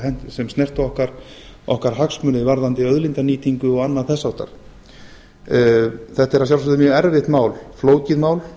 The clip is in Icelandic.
sem snerta okkar hagsmuni varðandi auðlindanýtingu og annað þess háttar þetta er að sjálfsögðu mjög erfitt mál flókið mál